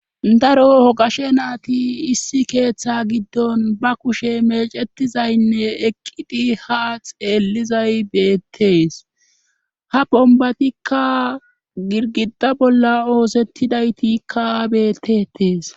daro hogashe naati issi keeththe giddon ba kushe mecetizaynne eqqidi ha xeellizay beettees ha bombatikka girgida bolla oosettidaytikka bettetees